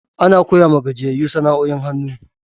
Ana koya wa gajiyayu sana'o'in hannu.